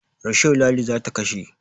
Risho Ladi za ta kashe.